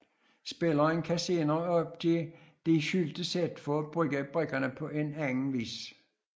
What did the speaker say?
Spilleren kan senere opgive disse skjulte sæt for at bruge brikkerne på en anden vis